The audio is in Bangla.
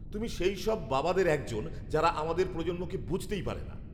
তুমি সেইসব বাবাদের একজন, যারা আমাদের প্রজন্মকে বুঝতেই পারে না!